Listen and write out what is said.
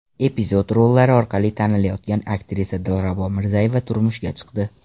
Epizod rollari orqali tanilayotgan aktrisa Dilrabo Mirzayeva turmushga chiqdi.